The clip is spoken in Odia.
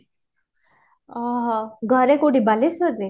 ଆଁ ଘର କୋଉଠି ବାଲେଶ୍ବର ରେ?